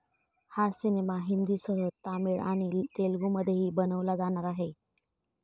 हा सिनेमा हिंदीसह तामिळ आणि तेलुगुमध्येही बनवला जाणार आहे.